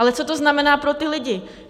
Ale co to znamená pro ty lidi?